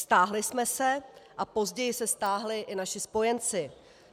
Stáhli jsme se a později se stáhli i naši spojenci.